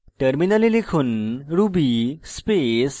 এখন terminal লিখুন